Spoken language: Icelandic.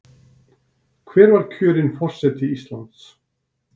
Hver var kjörinn forseti Íslands?